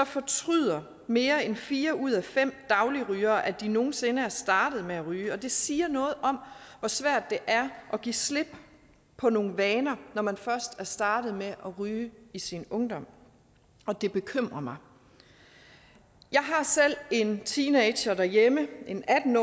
fortryder mere end fire ud af fem dagligrygere at de nogen sinde er startet med at ryge og det siger noget om hvor svært det er at give slip på nogle vaner når man først er startet med at ryge i sin ungdom og det bekymrer mig jeg har selv en teenager derhjemme en atten